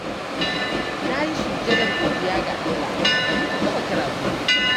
Na yi sujjadar godiya ga Allah da muka gama karatunmu.